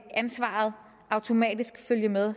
ansvaret automatisk følge med